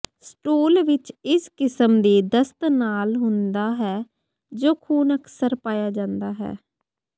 stool ਵਿਚ ਇਸ ਕਿਸਮ ਦੀ ਦਸਤ ਨਾਲ ਹੁੰਦਾ ਹੈ ਜੋ ਖੂਨ ਅਕਸਰ ਪਾਇਆ ਜਾਂਦਾ ਹੈ